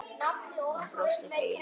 Hún brosti fegin.